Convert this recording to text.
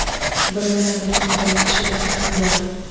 Bir yomonlikning bir yaxshiligi ham bor.